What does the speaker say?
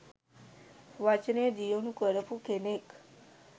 වචනය දියුණු කරපු කෙනෙක්.